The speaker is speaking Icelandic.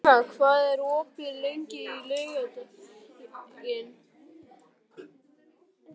Gríma, hvað er opið lengi á laugardaginn?